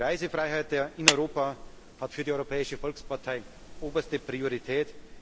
Die Reisefreiheit in Europa hat für die Europäische Volkspartei oberste Priorität.